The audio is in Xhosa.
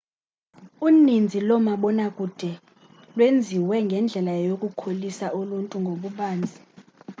uninzi loomabona kude lwenziwe ngendlela yokukholisa uluntu ngokubanzi